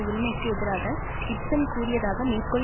உரிமைக்கு எதிராக கிப்சன் கூறியதாக மேற்கோள்